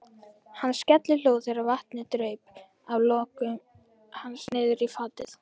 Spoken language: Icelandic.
Hann skellihló þegar vatnið draup af lokkum hans niðrí fatið.